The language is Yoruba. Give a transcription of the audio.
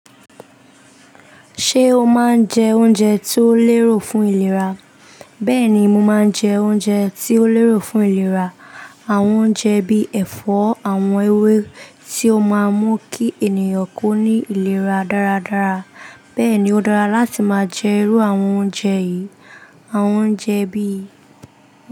Ṣé o máa ń jẹ oúnjẹ tí ó lérò fún ìlera? Bẹ́ẹ̀ni, mo máa ń jẹ oúnjẹ tí ó lérò fún ìlera. Àwọn oúnjẹ bí ẹ̀fọ́, àwọn ewé tí ó máa ń mú kí ènìyàn kó ní ìlera dáradára. Bẹ́ẹ̀ ni ó dára láti máa jẹ irú àwọn oúnjẹ yìí. Àwọn oúnjẹ bí.